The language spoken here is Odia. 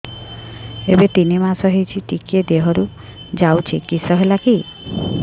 ଏବେ ତିନ୍ ମାସ ହେଇଛି ଟିକିଏ ଦିହରୁ ଯାଉଛି କିଶ ହେଲାକି